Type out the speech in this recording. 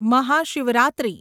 Mahashivratri